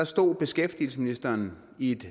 stod beskæftigelsesministeren i et